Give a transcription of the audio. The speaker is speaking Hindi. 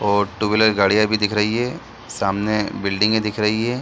और टू व्हीलर गाड़ियां भी दिख रही है सामने बिल्डिंगे दिख रही है।